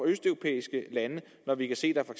østeuropæiske lande når vi kan se der for